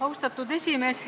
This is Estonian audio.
Austatud esimees!